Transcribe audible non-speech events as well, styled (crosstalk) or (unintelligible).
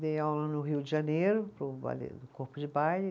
Dei aula no Rio de Janeiro, (unintelligible) no Corpo de Baile.